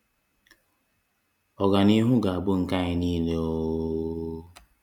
Ọganihu ga-abụ nke anyị niile ooooooo